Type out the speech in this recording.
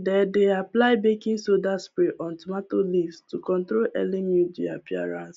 they dey apply baking soda spray on tomato leaves to control early mildew appearance